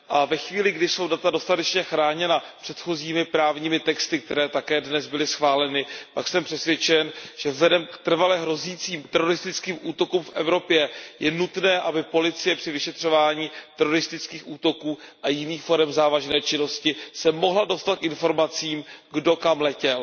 Ve chvíli, kdy jsou data dostatečně chráněna předchozími právními texty, které také dnes byly schváleny, jsem přesvědčen, že vzhledem k trvale hrozícím teroristickým útokům v Evropě je nutné, aby policie při vyšetřování teroristických útoků a jiných forem závažné činnosti se mohla dostat k informacím, kdo kam letěl.